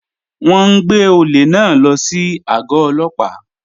Wọn n gbẹ̀ ọ̀lẹ̀ náà ló sí ago òlópà.